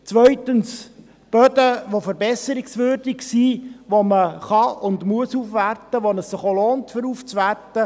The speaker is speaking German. Die zweite Klassifizierung betrifft Böden, die verbesserungswürdig sind, die aufgewertet werden können und müssen, wobei sich eine Aufwertung auch lohnt.